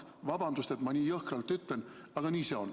Vabandust, et ma nii jõhkralt ütlen, aga nii see on.